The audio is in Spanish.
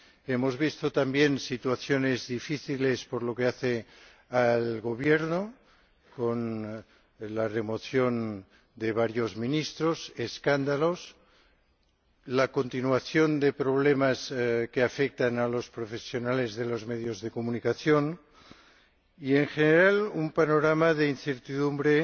Hemos visto también situaciones difíciles por lo que respecta al Gobierno, con la remoción de varios ministros, escándalos, la continuación de problemas que afectan a los profesionales de los medios de comunicación y, en general, un panorama de incertidumbre